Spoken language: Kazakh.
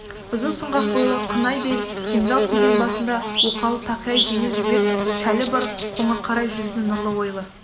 ұзын сұңғақ бойлы қынай бел кемзал киген басында оқалы тақия жеңіл жібек шәлі бар қоңырқай жүзді нұрлы ойлы